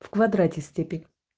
в квадрате степень